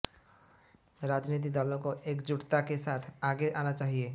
राजनीति दलों को एकजुटता के साथ आगे आना चाहिए